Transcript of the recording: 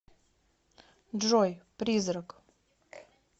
джой призрак